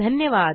धन्यवाद